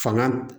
Fanga